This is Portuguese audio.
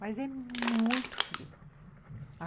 Mas é muito frio.